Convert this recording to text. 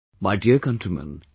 My dear countrymen,